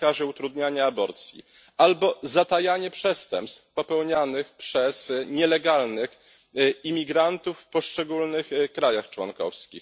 zakazie utrudniania aborcji albo zatajanie przestępstw popełnianych przez nielegalnych imigrantów w poszczególnych państwach członkowskich.